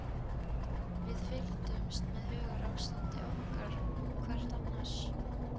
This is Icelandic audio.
Við fylgdumst með hugarástandi okkar og hvert annars.